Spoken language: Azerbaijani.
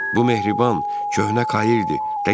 Bu mehriban köhnə Kairdi.